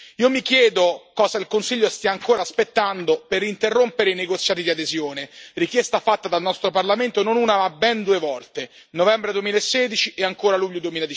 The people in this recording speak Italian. Io mi chiedo cosa il Consiglio stia ancora aspettando per interrompere i negoziati di adesione, richiesta fatta dal nostro Parlamento non una ma ben due volte nel novembre 2016 e ancora nel luglio